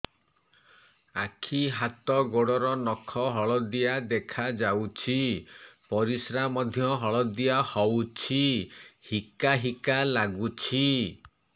ଆଖି ହାତ ଗୋଡ଼ର ନଖ ହଳଦିଆ ଦେଖା ଯାଉଛି ପରିସ୍ରା ମଧ୍ୟ ହଳଦିଆ ହଉଛି ହିକା ହିକା ଲାଗୁଛି